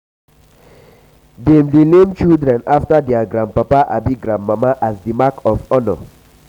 dem dey name children after dier grandpapa abi grandmama as di mark of honour.